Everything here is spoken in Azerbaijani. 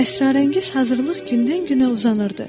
Əsrarəngiz hazırlıq gündən-günə uzanırdı.